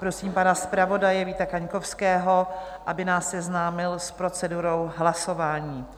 Prosím pana zpravodaje Víta Kaňkovského, aby nás seznámil s procedurou hlasování.